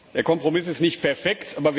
Der Kompromiss ist nicht perfekt.